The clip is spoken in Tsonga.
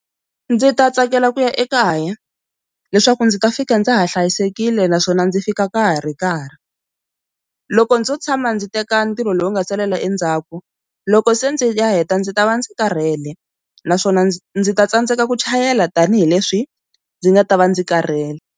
Ndzi ta tsakela ku ya ekaya leswaku ndzi ta fika ndza ha hlayisekile naswona ndzi fika ka ha ri karhi, loko ndzo tshama ndzi teka ntirho lowu nga salela endzhaku loko se ndzi ya heta ndzi ta va ndzi karhele naswona ndzi ndzi ta tsandzeka ku chayela tanihileswi ndzi nga ta va ndzi karhele.